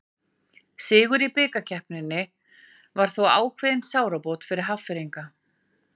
Sigur í bikarkeppninni var þó ákveðin sárabót fyrir Hafnfirðinga.